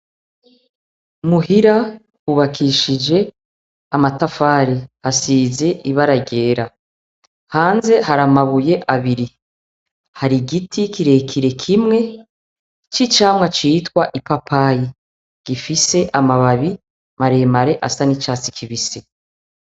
Muhira hubakishije amatafari, hasize ibara ryera, hanze hari amabuye abiri. Hari igiti kirekire kimwe c'icamwa citwa ipapayi gifise amababi maremare asa n'icatsi kibisi.